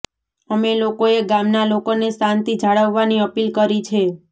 અમે લોકોએ ગામના લોકોને શાંતિ જાળવવાની અપીલ કરી છે